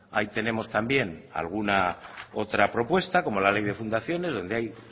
ahí tenemos también alguna otra propuesta como la ley de fundaciones donde hay